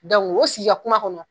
o sigi ka kuma kɔnɔ